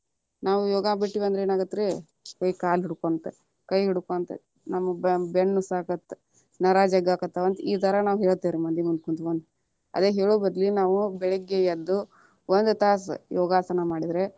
ನಾವು ಯೋಗಾ ಬಿಟ್ವಿ ಅಂದ್ರ ಏನಾಗತ್ತ ರೀ, ಅಯ್ಯ ಕಾಲ ಹಿಡ್ಕೊಂತ ಕೈ ಹಿಡ್ಕೊಂತ ನಮಗ ಬೆನ್ನ ನುವಸತೇತಿ ನರಾ ಜಗ್ಗಕ್ಕತ್ತವಾ ಈತರ ನಾವ ಹೇಳ್ಥಿವಿ. ಮಂದಿ ಮುಂದ ಕುಂತ್ಕೊಂಡ್ ಅದ ಹೇಳು ಬದ್ಲಿ ನಾವು ಬೆಳಗ್ಗೆ ಎದ್ದು ಒಂದ ತಾಸ ಯೋಗಾಸನ ಮಾಡಿದ್ರ.